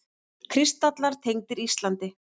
Kristallar tengdir Íslandi